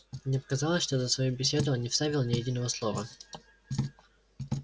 мне показалось что за свою беседу он не вставил ни единого слова